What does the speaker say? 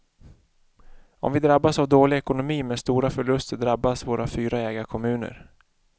Om vi drabbas av dålig ekonomi med stora förluster drabbas våra fyra ägarkommuner.